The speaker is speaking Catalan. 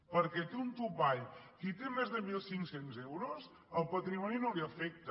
perquè té un topall qui té més de mil cinc cents euros el patrimoni no l’afecta